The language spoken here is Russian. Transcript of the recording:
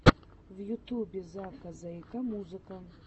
в ютубе зака зэйкэ музыка